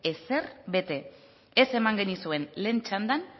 ezer bete ez eman genizuen lehen txandan